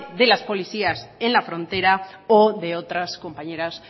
de las policías en la frontera o de otras compañeras